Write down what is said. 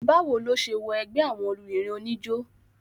bá wo ló se wọ ẹgbẹ́ àwọn obìnrin oníjó?